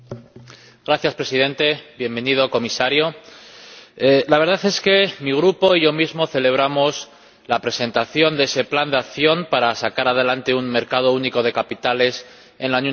Señor Presidente, bienvenido comisario. La verdad es que mi grupo y yo mismo celebramos la presentación de ese plan de acción para sacar adelante un mercado único de capitales en la Unión Europea.